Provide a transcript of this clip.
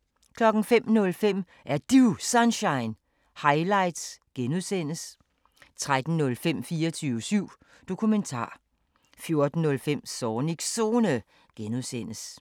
05:05: Er Du Sunshine? – highlights (G) 13:05: 24syv Dokumentar 14:05: Zornigs Zone (G)